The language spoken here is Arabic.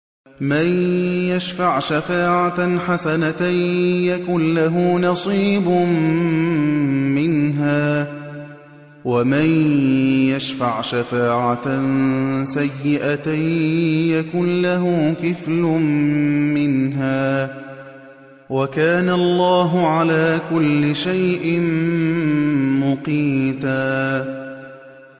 مَّن يَشْفَعْ شَفَاعَةً حَسَنَةً يَكُن لَّهُ نَصِيبٌ مِّنْهَا ۖ وَمَن يَشْفَعْ شَفَاعَةً سَيِّئَةً يَكُن لَّهُ كِفْلٌ مِّنْهَا ۗ وَكَانَ اللَّهُ عَلَىٰ كُلِّ شَيْءٍ مُّقِيتًا